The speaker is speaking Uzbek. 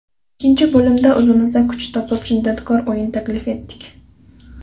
Ikkinchi bo‘limda o‘zimizda kuch topib, shiddatkor o‘yin taklif etdik.